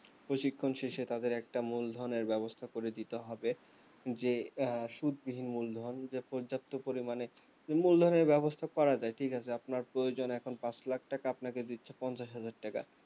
প্রশিক্ষণ শেষে তাদের একটা মূলধনের ব্যবস্থা করে দিতে হবে যে আহ সুদ বিহীন মূলধন যে পর্যাপ্ত পরিমানে মূলধনের ব্যবস্থা করা যায় ঠিক আছে আপনার প্রয়োজন এখন পাঁচ lakh টাকা আপনাকে দিচ্ছে পঞ্চাশ হাজার টাকা